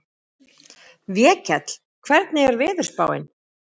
Vékell, hvernig er veðurspáin?